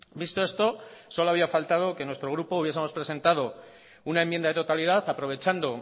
visto esto solo había faltado que nuestro grupo hubiesemos presentado una enmienda de totalidad aprovechando